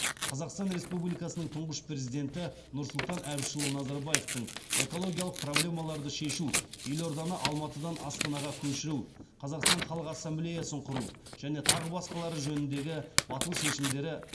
қазақстан республикасының тұңғыш президенті нұрсұлтан әбішұлы назарбаевтың экологиялық проблемаларды шешу елорданы алматыдан астанаға көшіру қазақстан халық ассамблеясын құру және тағы басқа жөніндегі батыл шешімдері